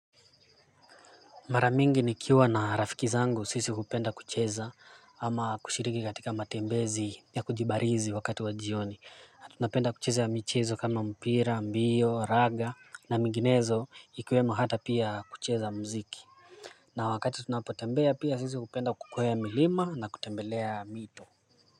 Mara mingi nikiwa na rafiki zangu sisi hupenda kucheza ama kushiriki katika matembezi ya kujibarizi wakati wa jioni tunapenda kucheza michezo kama mpira, mbio, raga na menginezo ikiwemo hata pia kucheza muziki na wakati tunapotembea pia sisi hupenda kukwea milima na kutembelea mito.